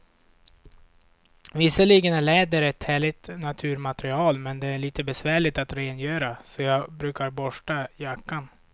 Visserligen är läder ett härligt naturmaterial, men det är lite besvärligt att rengöra, så jag brukar borsta jackan.